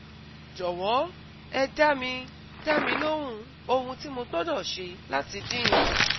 Jọ̀wọ́ ẹ dá mi dá mi lóhùn ohun tí mo gbọdọ̀ ṣe láti dín in kù